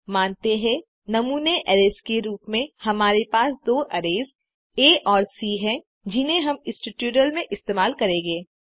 मानते हैं नमूने अरैज़ के रूप में हमारे पास दो अरैज़ आ और सी है जिन्हें हम इस ट्यूटोरियल में इस्तेमाल करेंगे